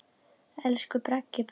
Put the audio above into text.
Elsku Bragi bróðir minn.